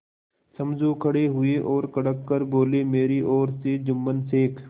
समझू खड़े हुए और कड़क कर बोलेमेरी ओर से जुम्मन शेख